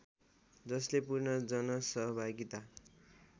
जसले पूर्ण जनसहभागिता